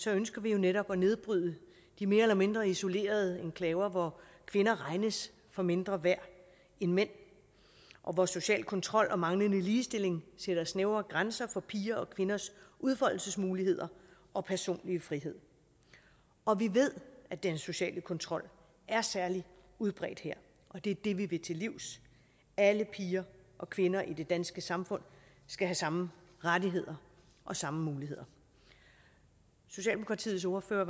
ønsker vi jo netop at nedbryde de mere eller mindre isolerede enklaver hvor kvinder regnes for mindre værd end mænd og hvor social kontrol og manglende ligestilling sætter snævre grænser for piger og kvinders udfoldelsesmuligheder og personlig frihed og vi ved at den sociale kontrol er særlig udbredt her det er det vi vil til livs alle piger og kvinder i det danske samfund skal have samme rettigheder og samme muligheder socialdemokratiets ordfører